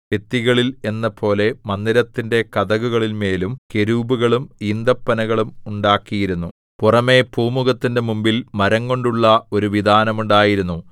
ഭിത്തികളിൽ എന്നപോലെ മന്ദിരത്തിന്റെ കതകുകളിന്മേലും കെരൂബുകളും ഈന്തപ്പനകളും ഉണ്ടാക്കിയിരുന്നു പുറമെ പൂമുഖത്തിന്റെ മുമ്പിൽ മരംകൊണ്ടുള്ള ഒരു വിതാനം ഉണ്ടായിരുന്നു